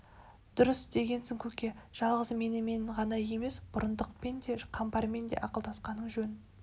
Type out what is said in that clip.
дұрыс істегенсің көке жалғыз менімен ғана емес бұрындықпен де қамбармен де ақылдасқан жөн